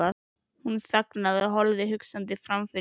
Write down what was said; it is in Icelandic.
Hún þagnaði og horfði hugsandi framfyrir sig.